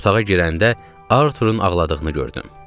Otağa girəndə Arturun ağladığını gördüm.